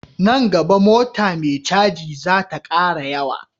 Nan gaba mota me caji zata kara yawa